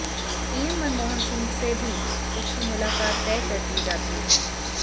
PM Manmohan Singh से भी उसकी मुलाकात तय कर दी जाती है